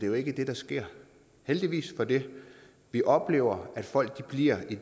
jo ikke det der sker og heldigvis for det vi oplever at folk bliver i